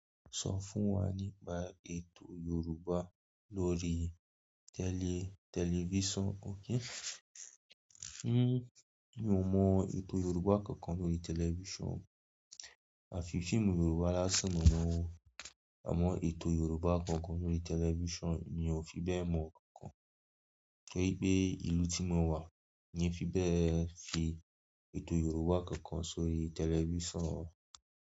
Sọ fún wa nípa ètò Yorùbá lórí tẹlifíson oun mọ ètò Yorùbá kankan lórí tẹlifíson. A fi fíìmù Yorùbá lásán mo mọ̀ nwo. Àmọ́ ètò Yorùbá kankan lórí tẹlifíson mi ò fi bẹ́ẹ̀ mọ̀ kankan. Torí pé ìlú tí mo wà yẹn fi bẹ́ẹ̀ fi ètò Yorùbá kankan sórí tẹlifíson.